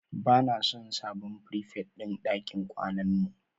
Ba na son sabon frifet din ɗakin kwanan mu